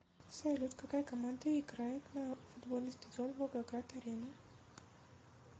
салют какая команда играет на футбольный стадион волгоград арена